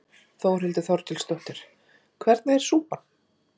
Þórhildur Þorkelsdóttir: Hvernig er súpan?